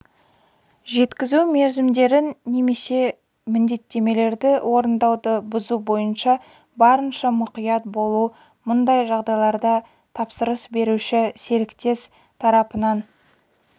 жеткізу мерзімдерін немесе міндеттемелерді орындауды бұзу бойынша барынша мұқият болу мұндай жағдайларда тапсырыс беруші серіктес тарапынан